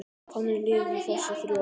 Þannig liðu þessi þrjú ár.